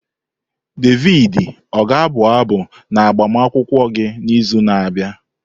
Davidi ọ ga-abụ abụ n'agbamakwụkwọ gị n'izu na-abịa?